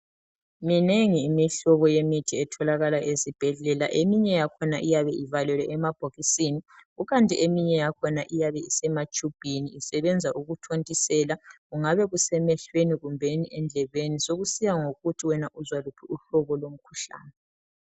Minengi Imihlobo yemithi etholakala ezibhedlela eminye yakhona iyabe ivalelwe emabhokisini . Kukanti eminye yakhona iyabe isematshubhini isebenza ukuthontisela kungabe kusemehlweni kumbeni endlebeni sokusiya ngokuthi wena uzwa luphi uhlobo lomkhuhlane .